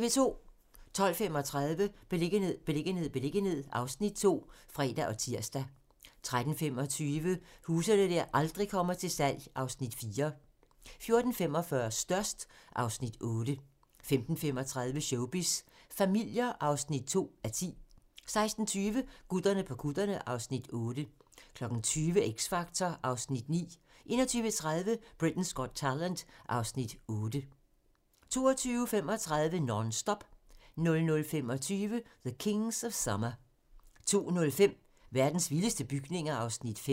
12:35: Beliggenhed, beliggenhed, beliggenhed (Afs. 2)(fre og tir) 13:25: Huse der aldrig kommer til salg (Afs. 4) 14:45: Størst (Afs. 8) 15:35: Showbiz familier (2:10) 16:20: Gutterne på kutterne (Afs. 6) 20:00: X Factor (Afs. 9) 21:30: Britain's Got Talent (Afs. 8) 22:35: Non-Stop 00:25: The Kings of Summer 02:05: Verdens vildeste bygninger (Afs. 5)